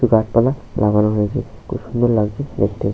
গাছপালা লাগানো রয়েছে খুব সুন্দর লাগছে দেখতে ।